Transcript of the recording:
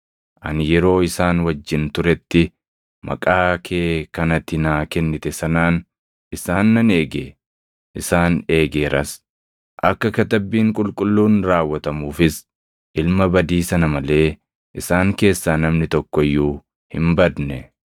Ani yeroo isaan wajjin turetti, maqaa kee kan ati naa kennite sanaan isaan nan eege; isaan eegeeras. Akka Katabbiin Qulqulluun raawwatamuufis ilma badii sana malee isaan keessaa namni tokko iyyuu hin badne.